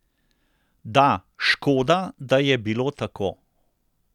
Da, škoda, da je bilo tako.